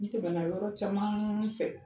N tɛmɛna yɔrɔ caman fɛ